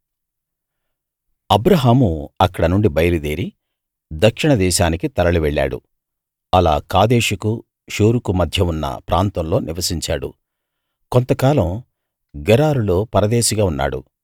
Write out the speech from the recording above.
అబ్రాహాము అక్కడ నుండి బయలుదేరి దక్షిణదేశానికి తరలి వెళ్ళాడు అలా కాదేషుకూ షూరుకూ మధ్య ఉన్న ప్రాంతంలో నివసించాడు కొంతకాలం గెరారులో పరదేశిగా ఉన్నాడు